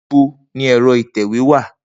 Nibo ni ẹ̀rọ ìtẹ̀wé wa?